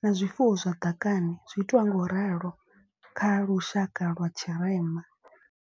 Na zwifuwo zwa ḓakani zwi itiwa nga u ralo kha lushaka lwa tshirema.